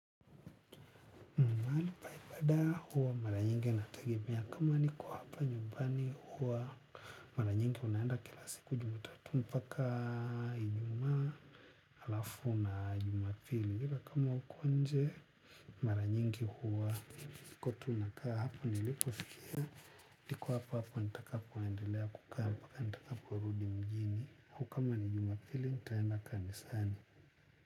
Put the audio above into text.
Anipaibada huwa mara nyingi natagebea kama niko hapa nyumbani huwa mara nyingi unaanda kila siku jumatatu mpaka inyuma alafu na jumapili hila kama uko nje mara nyingi huwa niko tu nakaa hapa nilipofikia niko hapa hapa nitakapoendelea kukaa mbaka nitakapo rudi mjini au kama ni jum apili nitaenda kanisani.